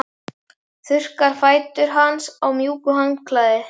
Þurrkar fætur hans með mjúku handklæði.